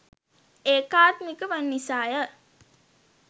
ඒකාත්මික වන නිසා ය.